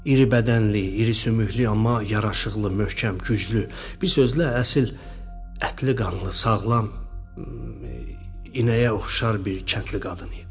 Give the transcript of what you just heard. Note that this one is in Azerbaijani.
İri bədənli, iri sümüklü, amma yaraşıqlı, möhkəm, güclü, bir sözlə əsl ətli-qanlı, sağlam inəyə oxşar bir kəndli qadın idi.